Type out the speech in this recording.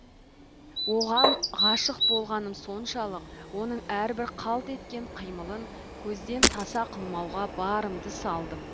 оған ғашық болғаным соншалық оның әрбір қалт еткен қимылын көзден таса қылмауға барымды салдым